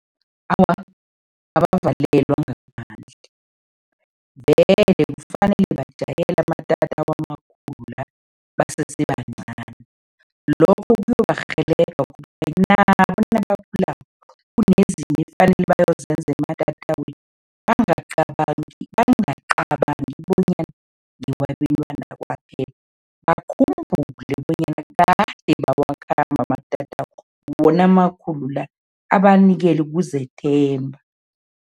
Awa, abavalelwa ngaphandle vele kufanele bajayele amatatawu amakhulu basese bancani. Lokhu kuyobarhelebha nabo nabakhulako kunezinto ekufanele bayozenza ematatawini bangacabangi bangacabangi bonyana ngewabentwana kwaphela, bakhumbule bonyana kade bawakhamba amatatawu wona amakhulu la, abanikele ukuzethemba.